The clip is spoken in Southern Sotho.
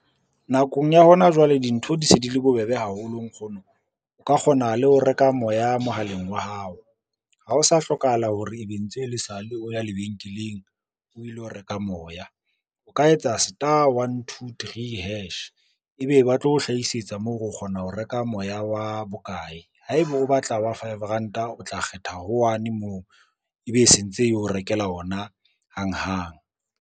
Nakong ya hona jwale, dintho di se di le bobebe haholo nkgono o ka kgona le ho reka moya mohaleng wa hao. Ha o sa hlokahala hore ebe ntse le sale o ya lebenkeleng o ilo reka moya, o ka etsa star one, two, three hash, ebe ba tlo hlahisetsa moo hore o kgona ho reka moya wa bokae, haeba o batla wa five ranta o tla kgetha ho one moo, ebe e sentse eo rekela ona hang hang.